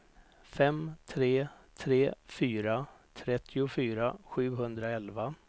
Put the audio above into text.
fem tre tre fyra trettiofyra sjuhundraelva